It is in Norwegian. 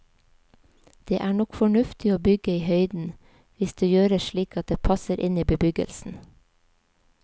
Det er nok fornuftig å bygge i høyden, hvis det gjøres slik at det passer inn i bebyggelsen.